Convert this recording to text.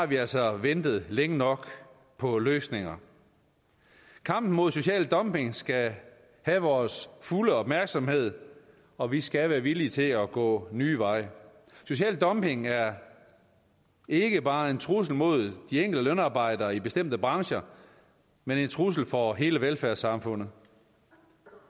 vi altså har ventet længe nok på løsninger kampen mod social dumping skal have vores fulde opmærksomhed og vi skal være villige til at gå nye veje social dumping er ikke bare en trussel mod de enkelte lønarbejdere i bestemte brancher men en trussel for hele velfærdssamfundet